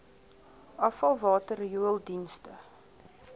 afvalwater riool dienste